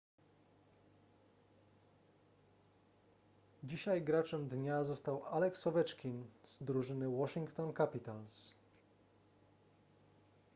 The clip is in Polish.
dzisiaj graczem dnia został alex ovechkin z drużyny washington capitals